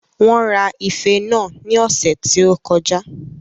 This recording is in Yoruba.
Wón ra ife náà ní ọ̀sẹ̀ tí ó kọjá